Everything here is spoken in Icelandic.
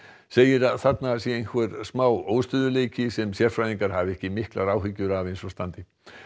segir að þarna sé einhver smá óstöðugleiki sem sérfræðingar hafi ekki miklar áhyggjur af eins og stendur